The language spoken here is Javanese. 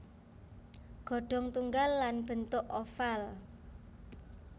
Ghodong tunggal lan bentuk oval